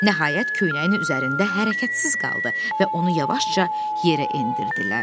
Nəhayət, köynəyin üzərində hərəkətsiz qaldı və onu yavaşca yerə endirdilər.